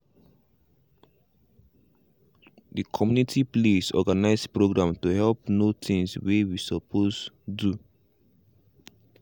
the community place organize program to help know things way we supposed do.